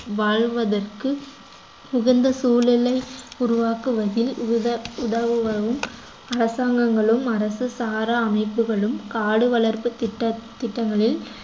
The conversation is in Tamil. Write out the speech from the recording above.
வாழ்வதற்கு உகந்த சூழலை உருவாக்குவதில் உத~ உதவுபவரும் அரசாங்கங்களும் அரசு சாரா அமைப்புகளும் காடு வளர்ப்பு திட்ட~ திட்டங்களில்